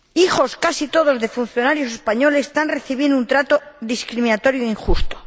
Hijos, casi todos, de funcionarios españoles, están recibiendo un trato discriminatorio e injusto.